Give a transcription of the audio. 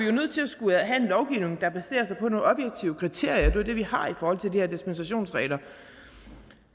jo nødt til at skulle have en lovgivning der baserer sig på nogle objektive kriterier og det er det vi har i forhold til de her dispensationsregler